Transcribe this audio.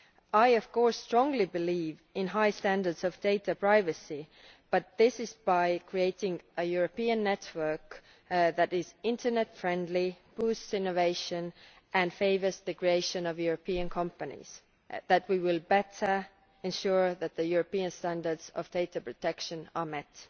I, of course, strongly believe in high standards of data privacy, but also that it is by creating a European network that is Internet friendly, boosts innovation and favours the creation of European companies that we will better ensure that the European standards of data protection are met.